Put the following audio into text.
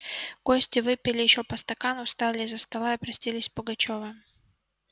гости выпили ещё по стакану встали из-за стола и простились с пугачёвым